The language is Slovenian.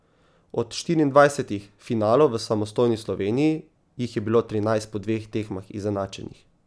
Od štiriindvajsetih finalov v samostojni Sloveniji, jih je bilo trinajst po dveh tekmah izenačenih.